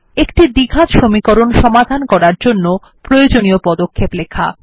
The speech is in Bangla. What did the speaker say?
একটি দ্বিঘাত সমীকরণ সমাধান করার জন্য প্রয়োজনীয় পদক্ষেপ লেখা